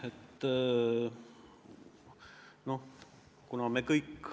Aitäh!